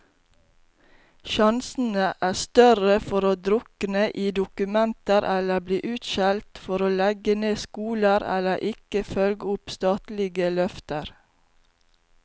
Sjansene er større for å drukne i dokumenter eller bli utskjelt for å legge ned skoler, eller ikke følge opp statlige løfter.